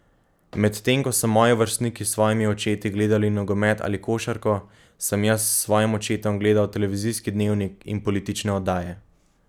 Medtem ko so moji vrstniki s svojimi očeti gledali nogomet ali košarko, sem jaz s svojim očetom gledal televizijski dnevnik in politične oddaje.